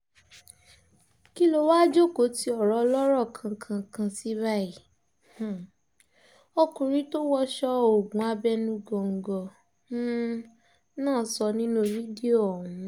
kí ló wáá jókòó tí ọ̀rọ̀ ọlọ́rọ̀ kankankan sí báyìí um ọkùnrin tó wọṣọ oògùn abẹnugòńgò um náà sọ nínú fídíò ọ̀hún